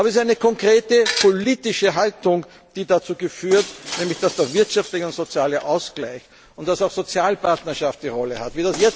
hat. Aber es ist eine konkrete politische Haltung, die dazu führt, dass der wirtschaftliche und soziale Ausgleich und dass auch Sozialpartnerschaft eine Rolle spielen.